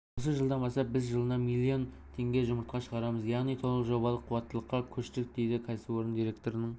осы жылдан бастап біз жылына миллион жұмыртқа шығарамыз яғни толық жобалық қуаттылыққа көштік дейді кәсіпорын директорының